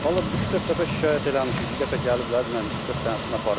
Vallah üç-dörd dəfə şikayət eləmişik, bir dəfə gəliblər, mənim üç-dörd dənəsini aparıblar.